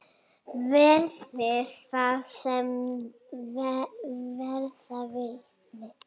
Verði það sem verða vill!